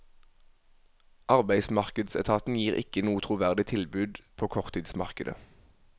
Arbeidsmarkedsetaten gir ikke noe troverdig tilbud på korttidsmarkedet.